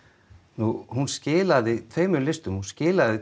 nú hún skilaði tveimur listum hún skilaði